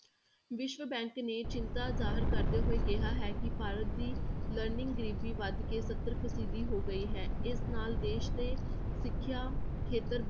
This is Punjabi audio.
ਵਿਸ਼ਵ bank ਨੇ ਚਿੰਤਾ ਜ਼ਾਹਿਰ ਕਰਦੇ ਹੋਏ ਕਿਹਾ ਹੈ ਕਿ ਭਾਰਤ ਦੀ learning ਗ਼ਰੀਬੀ ਵੱਧ ਕੇ ਸੱਤਰ ਫੀਸਦੀ ਹੋ ਗਈ ਹੈ, ਇਸ ਨਾਲ ਦੇਸ ਦੇ ਸਿੱਖਿਆ ਖੇਤਰ